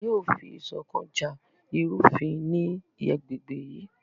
A yóò fi iṣọkan ja irufin ni agbegbe yii